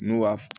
N'u b'a f